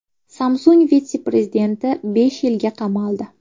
Samsung vitse-prezidenti besh yilga qamaldi.